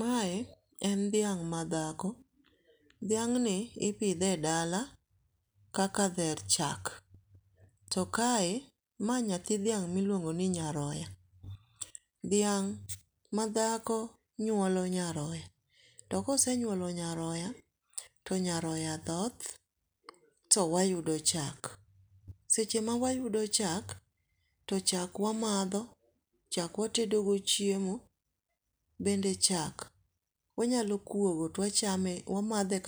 mae en dhiang madhako ,dhiangni ipidhe e dala kaka dher chak to kae mae naythi dhiang miluongo ni nyaroa, dhiang madhako nyuolo nyaroa to kose nyuolo nyaroya to nyaroa dhoth to wayudo chak, seche mawayudo chak to chak wamadho ,chak watedo go chuiemo, bende chak wanyalo kuogo to wamadhe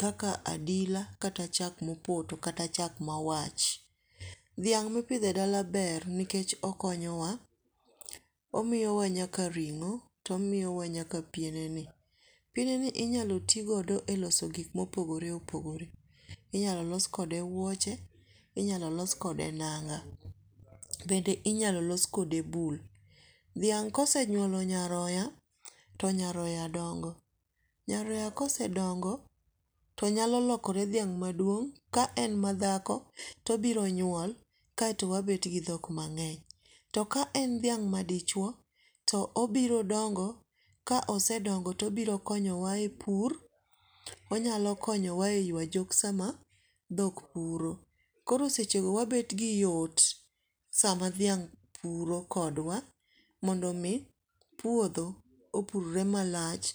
kaka adila kata chako mopoto kata mawach, dhiang mipidhe dala ber nikech okonyowa, omiyowa nyaka ringo to omiyowa nyaka pieneni ,piene ni inyalo los go gik mopogore opogore, inyalo los kode wuoche ,inyalo los kode nanga bende inyalo los mode bul, dhiang kosenyuolo nyaroya to nyaro dongo nyaroya kosedongo to nyalo lokere dhiang maduong ka en madhako tobiro nyuol kae to wabet gi dhok mangeny to ka en dhiang madichuo to obiro dongo kosedongo tobiro konyowa e pur onyalo konyowa e yua jok sama dhok puro ,koro seche go wabet gi yot sama dhiang puro kodwa mondo mi puotho opurre malach